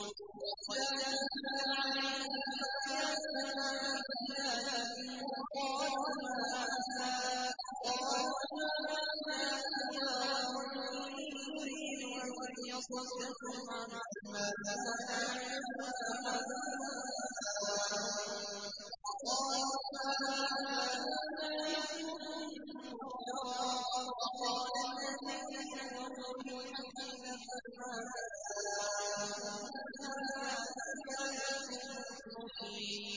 وَإِذَا تُتْلَىٰ عَلَيْهِمْ آيَاتُنَا بَيِّنَاتٍ قَالُوا مَا هَٰذَا إِلَّا رَجُلٌ يُرِيدُ أَن يَصُدَّكُمْ عَمَّا كَانَ يَعْبُدُ آبَاؤُكُمْ وَقَالُوا مَا هَٰذَا إِلَّا إِفْكٌ مُّفْتَرًى ۚ وَقَالَ الَّذِينَ كَفَرُوا لِلْحَقِّ لَمَّا جَاءَهُمْ إِنْ هَٰذَا إِلَّا سِحْرٌ مُّبِينٌ